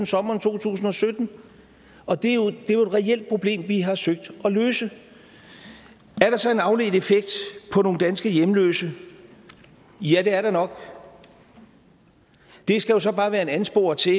sommeren to tusind og sytten og det er jo et reelt problem vi har søgt at løse er der så en afledt effekt for nogle danske hjemløse ja det er der nok det skal jo så bare være en ansporing til